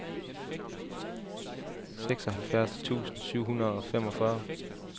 seksoghalvfjerds tusind syv hundrede og femogfyrre